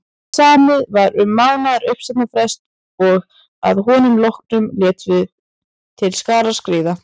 Samið var um mánaðar uppsagnarfrest og að honum loknum létum við til skarar skríða.